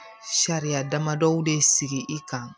Sariya damadɔ de sigi i kan